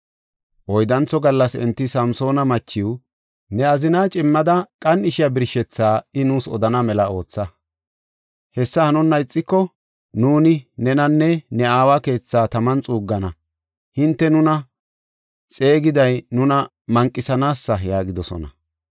Oyddantho gallas enti Samsoona machiw, “Ne azinaa cimmada qan7ishiya birshethaa I nuus odana mela ootha. Hessi hanonna ixiko, nuuni nenanne ne aawa keethaa taman xuuggana. Hinte nuna xeegiday nuna manqisanaasee?” yaagidosona.